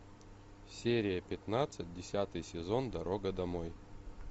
серия пятнадцать десятый сезон дорога домой